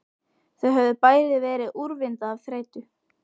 Þau höfðu bæði verið úrvinda af þreytu.